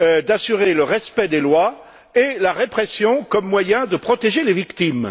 d'assurer le respect des lois et la répression comme moyen de protéger les victimes.